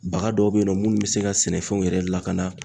Baga dɔw be yen nɔ munnu be se ka sɛnɛfɛnw yɛrɛ lakana